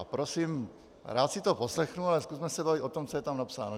A prosím, rád si to poslechnu, ale zkusme se bavit o tom, co je tam napsáno.